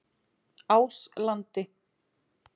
Áslandi